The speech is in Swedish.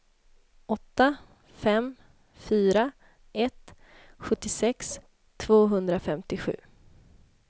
åtta fem fyra ett sjuttiosex tvåhundrafemtiosju